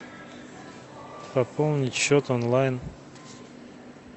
пополнить счет онлайн